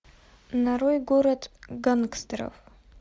нарой город гангстеров